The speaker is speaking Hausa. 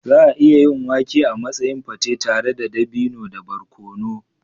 Za a iya yin wake a matsayin pate tare da dabino da barkono.